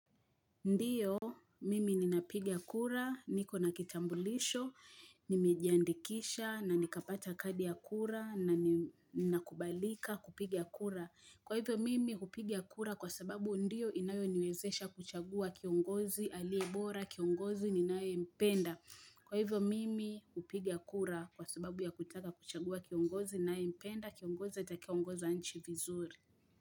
Ndio, mimi ninapiga kura, niko na kitambulisho, nimejiandikisha, na nikapata kadi ya kura, na ninakubalika kupiga kura. Kwa hivyo, mimi hupiga kura kwa sababu ndiyo inayoniwezesha kuchagua kiongozi, aliye bora, kiongozi, ninayempenda. Kwa hivyo, mimi kupiga kura kwa sababu ya kutaka kuchagua kiongozi, ninayempenda, kiongozi atakaye ongoza nchi vizuri.